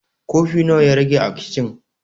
Kofi nawa ya rage a kicin?